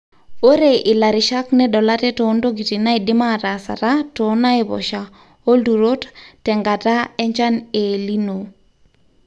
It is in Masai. ore ilarishak nedol ate toontokitin naidim ataasata too naiposhaa olturot tenkata enchan e El nino